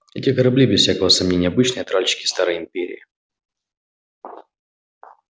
эти корабли без всякого сомнения обычные тральщики старой империи